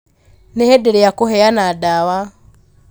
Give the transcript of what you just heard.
nĩ ihinda rĩa kũheana ndawa